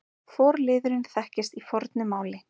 Forliðurinn þekkist í fornu máli.